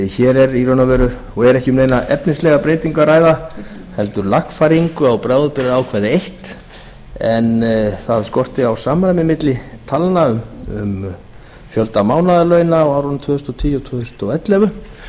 hér er ekki um neina efnislega breytingu að ræða heldur lagfæringu á bráðabirgðaákvæði eitt en það skorti á samræmi milli talna um fjölda mánaðarlauna á árunum tvö þúsund og tíu til tvö þúsund og ellefu